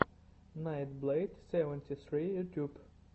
найтблэйд севенти ссри ютьюб